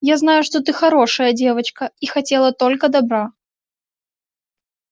я знаю что ты хорошая девочка и хотела только добра